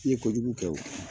I ye kojugu kɛ wo.